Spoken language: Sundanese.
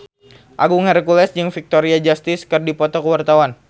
Agung Hercules jeung Victoria Justice keur dipoto ku wartawan